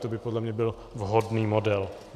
To by podle mě byl vhodný model.